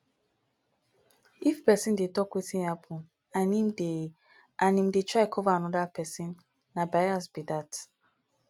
if person dey talk wetin happen and im dey and im dey try cover anoda person na bias be that